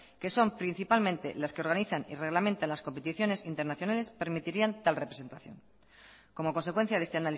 que son principalmente las que organizan y reglamentan las competiciones internacionales permitirían tal representación como consecuencia de este